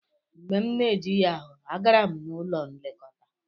Mgbe m na-ejighị ahụ, agara m n'ụlọ nlekọta.